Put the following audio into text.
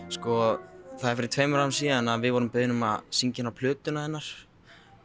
sko það var fyrir tveimur árum síðan að við vorum beðin um að syngja inn á plötuna hennar